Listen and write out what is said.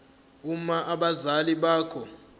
uma abazali bakho